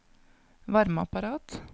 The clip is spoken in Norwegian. varmeapparat